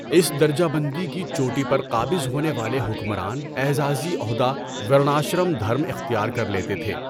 اس درجہ بندی کی چوٹی پر قابض ہونے والے حکمران اعزازی عہدہ ورناشرم دھرم اختیار کر لیتے تھے۔